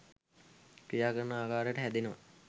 ක්‍රියා කරන ආකාරයට හැදෙනව.